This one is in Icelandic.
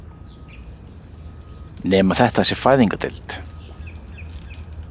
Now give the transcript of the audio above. Nema þetta sé fæðingardeild.